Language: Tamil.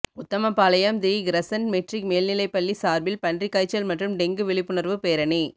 உத்தமபாளையம் தி கிரசண்ட் மெட்ரிக் மேல்நிலைப்பள்ளி சார்பில் பன்றிக்காய்ச்சல் மற்றும் டெங்கு விழிப்புணர்வு பேரணி